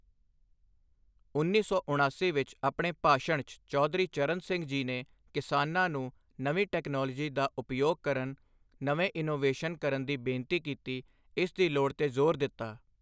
ਉੱਨੀ ਸੌ ਉਣਾਸੀ ਵਿੱਚ ਆਪਣੇ ਭਾਸ਼ਣ 'ਚ ਚੌਧਰੀ ਚਰਨ ਸਿੰਘ ਜੀ ਨੇ ਕਿਸਾਨਾਂ ਨੂੰ ਨਵੀਂ ਟੈਕਨਾਲੋਜੀ ਦਾ ਉਪਯੋਗ ਕਰਨ, ਨਵੇਂ ਇੱਨੋਵੇਸ਼ਨ ਕਰਨ ਦੀ ਬੇਨਤੀ ਕੀਤੀ, ਇਸ ਦੀ ਲੋੜ ਤੇ ਜ਼ੋਰ ਦਿੱਤਾ।